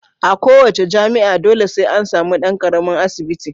A kowa ce jami'a dole sai an samu dan karamin asibiti.